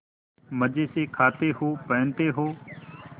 मजे से खाते हो पहनते हो